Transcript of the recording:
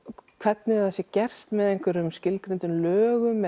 hvernig það er gert með einhverjum skilgreindum lögum